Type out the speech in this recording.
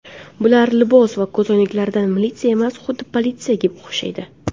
Bular libosi va ko‘zoynaklaridan militsiya emas, xuddi politsiyaga o‘xshaydi!